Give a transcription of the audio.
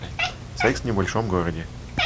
секс в небольшом городе